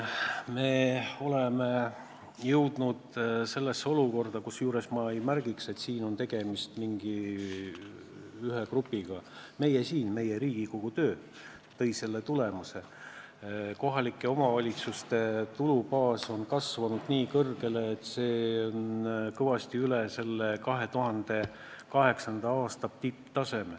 Me oleme jõudnud olukorda – kusjuures märgin, et siin ei ole tegemist mingi ühe grupiga, vaid see on meie, Riigikogu, töö tulemus –, kus kohalike omavalitsuste tulubaas on kasvanud nii kõrgeks, et see on kõvasti üle 2008. aasta tipptaseme.